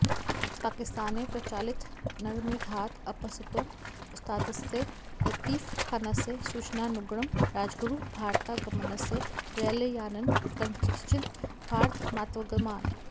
पाकिस्ताने प्रचालितनरमेधात् अपसर्तुम् उस्तादस्य लतीफखानस्य सूचनानुगुणं राजगुरुः भारतागमनस्य रैलयानेन कथञ्चित् भारतमागतवान्